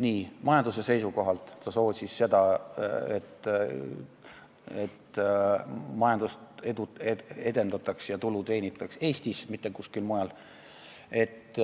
Seda ka majanduse seisukohalt, ta soosis seda, et majandust edendataks ja tulu teenitaks Eestis, mitte kuskil mujal, ning et